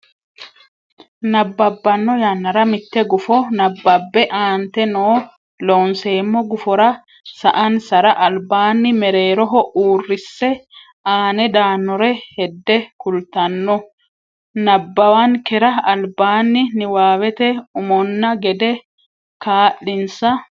nabbabbanno yannara mitte gufo nabbabbe aante noo Loonseemmo gufora sa ansara albaanni mereeroho uurrisse aane daannore hedde kultanno nabbawankera albaanni niwaawete umonna gede kaa linsa.